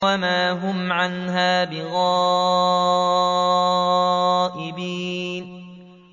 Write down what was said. وَمَا هُمْ عَنْهَا بِغَائِبِينَ